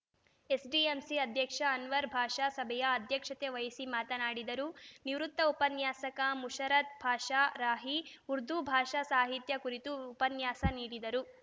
SDMC ಅಧ್ಯಕ್ಷ ಅನ್ವರ್‌ ಭಾಷ ಸಭೆಯ ಅಧ್ಯಕ್ಷತೆ ವಹಿಸಿ ಮಾತನಾಡಿದರು ನಿವೃತ್ತ ಉಪನ್ಯಾಸಕ ಮುಷರತ್‌ ಪಾಷಾ ರಾಹಿ ಉರ್ದು ಭಾಷಾ ಸಾಹಿತ್ಯ ಕುರಿತು ಉಪನ್ಯಾಸ ನೀಡಿದರು